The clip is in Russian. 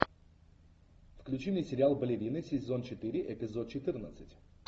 включи мне сериал балерины сезон четыре эпизод четырнадцать